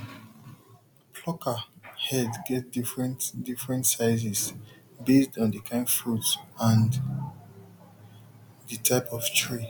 plucker head get different different sizes based on the kind fruit and the type of tree